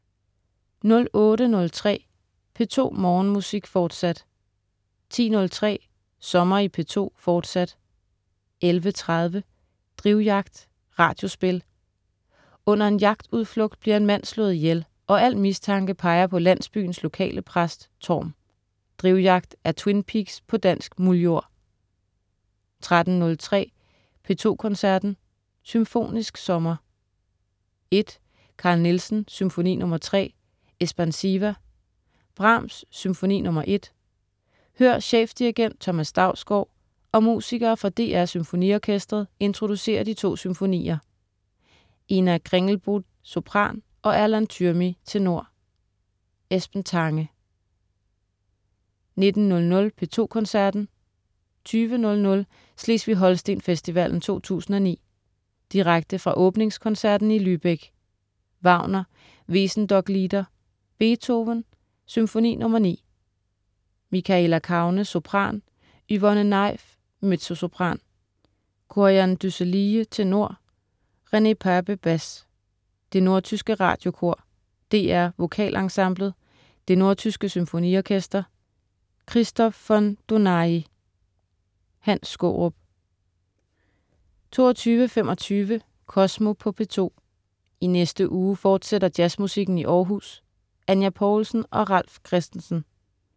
08.03 P2 Morgenmusik, fortsat 10.03 Sommer i P2, fortsat 11.30 Drivjagt. Radiospil. Under en jagtudflugt bliver en mand slået ihjel, og al mistanke peger på landsbyens lokale præst Thorm. "Drivjagt" er "Twin Peaks" på dansk muldjord 13.03 P2 Koncerten. Symfonisk sommer 1. Carl Nielsen: Symfoni nr. 3, Espansiva. Brahms: Symfoni nr. 1. Hør chefdirigent Thomas Dausgaard og musikere fra DR SymfoniOrkestret introducere de to symfonier. Ina Kringlbotn, sopran, og Erland Tyrmi, tenor. Esben Tange 19.00 P2 Koncerten. 20.00 Slesvig-Holsten Festivalen 2009. Direkte fra åbningskoncerten i Lübeck. Wagner: Wesendonck-lieder. Beethoven: Symfoni nr. 9. Michaela Kaune, sopran. Yvonne Naef, mezzosopran. Kor-Jan Dusselijee, tenor. René Pape, bas. Det nordtyske Radiokor. DR Vokalensemblet. Det Nordtyske Symfoniorkester. Christoph von Dohnáyi. Hans Skaarup 22.25 Kosmo på P2. I næste uge fortsætter jazzmusikken i Århus. Anya Poulsen og Ralf Christensen